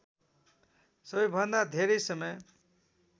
सबैभन्दा धेरै समय